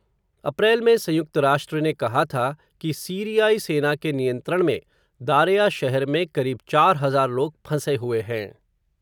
अप्रैल में संयुक्त राष्ट्र ने कहा था, कि सीरियाई सेना के नियंत्रण में, दारेया शहर में, करीब चार हज़ार लोग फंसे हुए हैं.